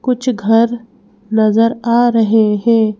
कुछ घर नजर आ रहे हैं।